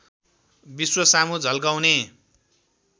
विश्व सामु झल्काउने